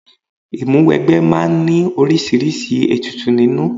Ìmúwẹgbẹ́ máa ń ní oríṣiríṣi ètùtù nínú.